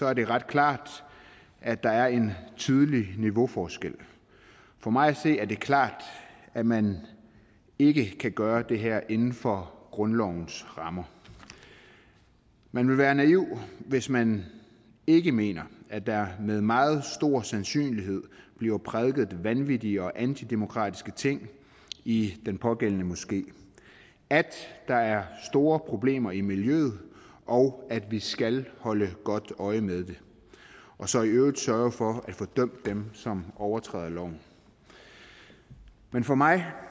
er det ret klart at der er en tydelig niveauforskel for mig at se er det klart at man ikke kan gøre det her inden for grundlovens rammer man vil være en naiv hvis man ikke mener at der med meget stor sandsynlighed bliver prædiket vanvittige og antidemokratiske ting i den pågældende moské at der er store problemer i miljøet og at vi skal holde godt øje med det og så i øvrigt sørge for at få dømt dem som overtræder loven men for mig